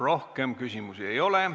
Rohkem küsimusi ei ole.